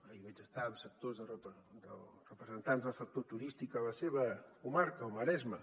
ahir vaig estar amb representants del sector turístic a la seva comarca al maresme